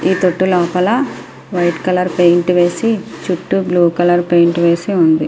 ఈ ఈ తొట్టు లోపల వైట్ కలర్ పెయింట్ వేసి చుట్టూ బ్లూ కలర్ పెయింట్ వేసి ఉంది.